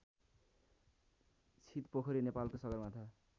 छितपोखरी नेपालको सगरमाथा